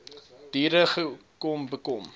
diere kom bekom